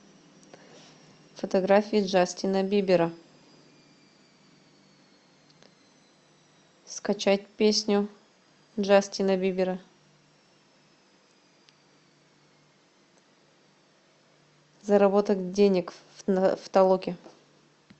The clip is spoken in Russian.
фотографии джастина бибера скачать песню джастина бибера заработать денег в толоке